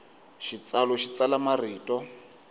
xitsalu xi tsala marito